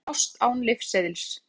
Sum þessara lyfja fást án lyfseðils.